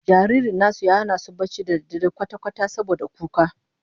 Jaririn nasu ya hana su barci cikin dare kwata-kwata saboda kuka